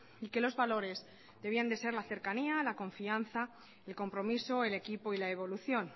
y que los valores debían de ser la cercanía la confianza el compromiso el equipo y la evolución